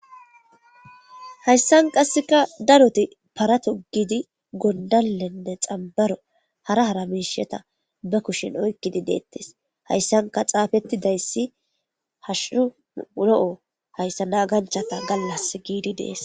Hayssan qasseka daroti para togidi gondallenne xambaro hara haramisheta ba kushin oykkidi deettis hayssanka xaafetti dayssi hashuhu ulo'o hayssa naganchata gallas giidi dees.